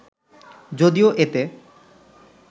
যদিও এতে